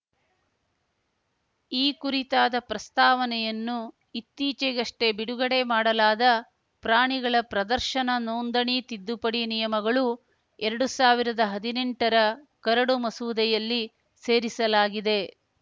ಈ ಕುರಿತಾದ ಪ್ರಸ್ತಾವನೆಯನ್ನು ಇತ್ತೀಚೆಗಷ್ಟೇ ಬಿಡುಗಡೆ ಮಾಡಲಾದ ಪ್ರಾಣಿಗಳ ಪ್ರದರ್ಶನ ನೋಂದಣಿ ತಿದ್ದುಪಡಿ ನಿಯಮಗಳುಎರಡು ಸಾವಿರದ ಹದಿನೆಂಟರ ಕರಡು ಮಸೂದೆಯಲ್ಲಿ ಸೇರಿಸಲಾಗಿದೆ